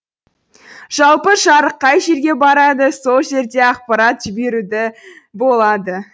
жалпы жарық қай жерге барады сол жерде ақпаратты жіберуді болады